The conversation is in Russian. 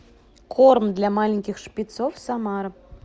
корм для маленьких шпицов самара